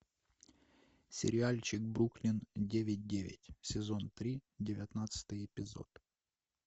сериальчик бруклин девять девять сезон три девятнадцатый эпизод